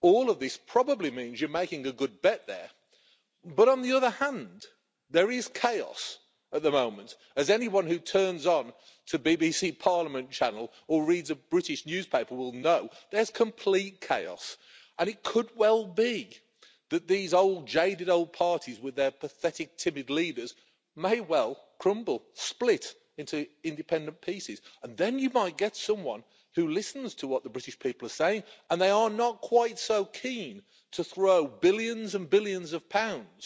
All of this probably means you're making a good bet there but, on the other hand, there is chaos at the moment. As anyone who turns on to the BBC Parliament channel or reads a British newspaper will know, there's complete chaos and it could well be that these jaded old parties with their pathetic, timid leaders may well crumble and split into independent pieces, and then you might get someone who listens to what the British people are saying and they are not quite so keen to throw billions and billions of pounds